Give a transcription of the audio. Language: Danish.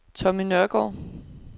Tommy Nørgaard